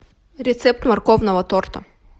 рецепт морковного торта